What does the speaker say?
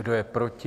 Kdo je proti?